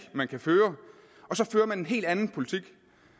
man kan føre og så fører man en helt anden politik